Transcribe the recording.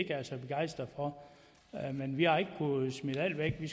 er så begejstret for men vi har ikke kunnet smide alt væk vi